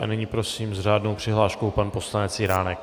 A nyní prosím s řádnou přihláškou pan poslanec Jiránek.